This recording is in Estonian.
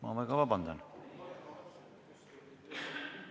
Palun väga vabandust!